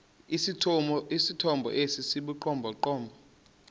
esithomo esi sibugqomogqomo